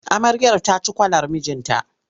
Amaryar ta ci kwalar mijinta.